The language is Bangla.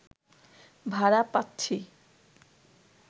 ভাড়া পাচ্ছি